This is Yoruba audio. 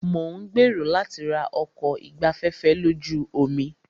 Mo ń gbèrò láti ra ọkọ̀ ìgbafẹ́fẹ́ lójú omi.